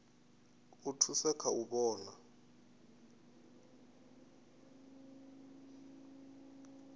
u thusa kha u vhona